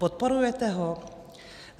Podporujete ho?